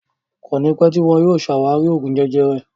Kọ́ni pẹ tíì wọn yìí ó ṣe ṣé àwárí Oògún jẹjẹrẹ